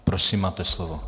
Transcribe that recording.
Prosím, máte slovo.